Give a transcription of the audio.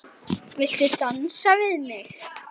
Viltu dansa við mig?